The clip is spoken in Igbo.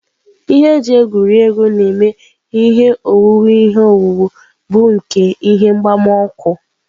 Ihe e ji egwuri egwu na-eme ihe owuwu ihe owuwu bụ nke ihe mgbawa ọkụ.